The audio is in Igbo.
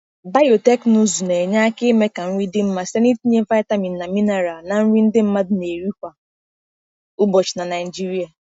Biotekịnụzụ na-enye aka ime ka nri dị mma site n’itinye vitamin na mineral na nri ndị mmadụ na-eri kwa ụbọchị na Naijiria.